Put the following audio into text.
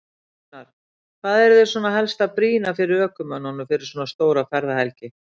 Gunnar: Hvað eruð þið svona helst að brýna fyrir ökumönnum fyrir svona stóra ferðahelgi?